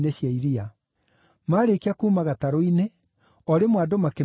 Maarĩkia kuuma gatarũ-inĩ, o rĩmwe andũ makĩmenya Jesũ.